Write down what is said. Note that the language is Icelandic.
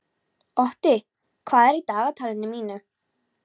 Otti, hvað er í dagatalinu í dag?